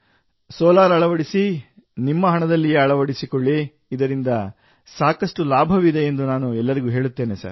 solar ಅಳವಡಿಸಿ ನಿಮ್ಮ ಹಣದಲ್ಲಿಯೇ ಅಳವಡಿಸಿಕೊಳ್ಳಿ ಇದರಿಂದ ಸಾಕಷ್ಟು ಲಾಭವಿದೆ ಎಂದು ನಾನು ಎಲ್ಲರಿಗೂ ಹೇಳುತ್ತೇನೆ ಸರ್